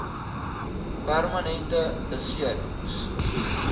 permanente besering s